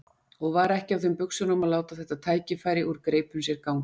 Og var ekki á þeim buxunum að láta þetta tækifæri úr greipum sér ganga.